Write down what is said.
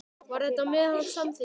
Var þetta með hans samþykki?